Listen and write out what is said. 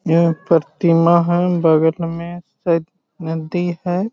यह प्रतिमा है बगल में शायद नदी है।